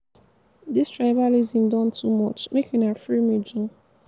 dis tribalism don too much. make una free me joor.